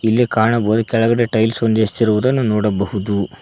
ಇಲ್ಲಿ ಕಾಣ್ ಬೂಯ್ ಕೆಳಗಡೆ ಟೈಲ್ ಸು ನಿಸಿರುವುದನ್ನು ನೋಡಬಹುದು.